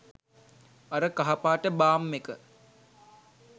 අර කහ පාට බාම් එක